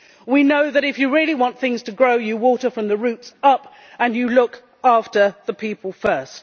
We know that, if you really want things to grow, you water from the roots up and you look after the people first.